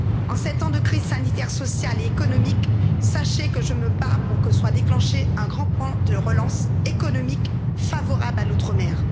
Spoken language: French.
Depuis sept ans de crise sanitaire, sociale et économique, sachez que je me bats pour que soit déclenché un grand plan de relance économique favorable à l'Outre Mer.